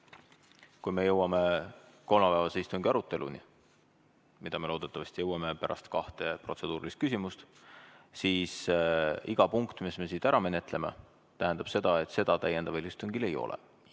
Kui me jõuame kolmapäevase istungi aruteluni – loodetavasti jõuame selleni pärast kahte protseduurilist küsimust –, siis iga punkt, mis me ära menetleme, tähendab, et seda täiendaval istungil ei ole.